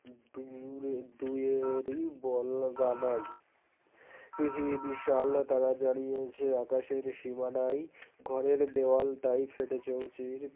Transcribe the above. দূরে দুইয়েরই বল গাদায়ী পৃথিবী বিশাল তারা জ্বালিয়েছে আকাশের সীমানাই ঘরের দেওয়াল তাই ফেটে চৌচির